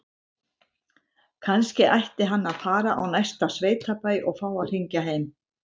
Kannski ætti hann að fara á næsta sveitabæ og fá að hringja heim?